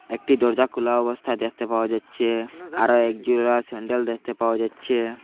একটি দরজা খুলা অবস্থায় দেখতে পাওয়া যাচ্চে আরও একজোড়া স্যান্ডেল দেখতে পাওয়া যাচ্চে।